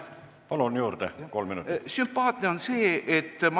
Palun!